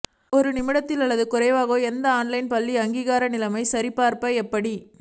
ஒரு நிமிடத்தில் அல்லது குறைவாக எந்த ஆன்லைன் பள்ளி அங்கீகாரம் நிலைமை சரிபார்க்க எப்படி